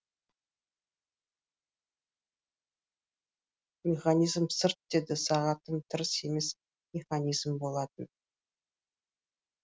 механизм сырт деді сағатым емес механизм болатын